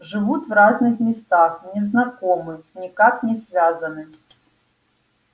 живут в разных местах не знакомы никак не связаны